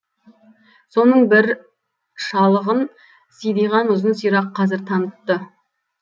соның бір шалығын сидиған ұзын сирақ қазір танытты